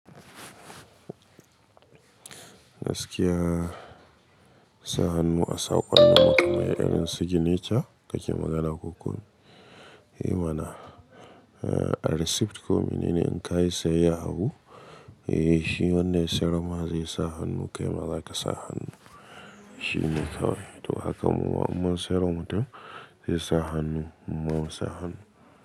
Gaskiya sa hannu a saƙon noma mai irin signature kake magana ko kun? Ey mana, eh a receipt komi nene in ka yi saye abu, eh shi wanda ya siyar ma zai sa hannu kai ma za ka sa hannu. Shi ne kawai. To haka mawa umman siyarwa mutum zai sa hannu mawa sa hannu.